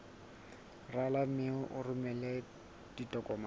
rala mme o romele ditokomene